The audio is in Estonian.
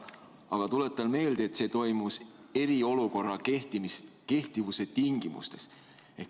Aga tuletan meelde, et see toimus eriolukorra kehtimise tingimustes.